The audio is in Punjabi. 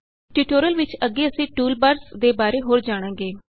ਟਯੂਟੋਰਿਅਲ ਵਿੱਚ ਅੱਗੇ ਅਸੀਂ ਟੂਲਬਾਰਸ ਦੇ ਬਾਰੇ ਹੋਰ ਜਾਣਾਂਗੇ